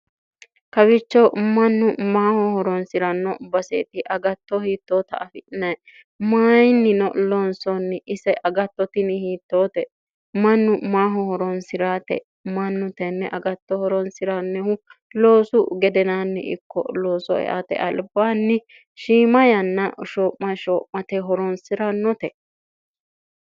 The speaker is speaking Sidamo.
kawicho mannu maaho horonsi'ranno baseeti agatto hiittoota afi'nee mayinnino lonsoonni ise agattotini hiittoote mannu maaho horonsi'raate mannu tenne agatto horonsi'rannihu loosu gedenaanni ikko looso eate albaanni shiima yanna sho'ma sho'mate horonsi'rannote